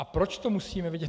A proč to musíme vědět?